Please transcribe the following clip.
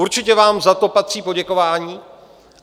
Určitě vám za to patří poděkování.